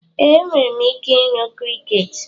Ee, enwere m ike ịnụ crickets.